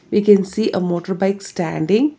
We can see a motorbike standing.